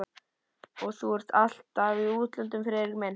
Og þú ert alltaf í útlöndum, Friðrik minn